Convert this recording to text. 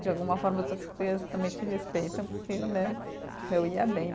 De alguma forma, também te respeitam, porque né, eu ia bem.